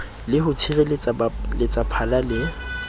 le ho tshireletsa baletsaphala le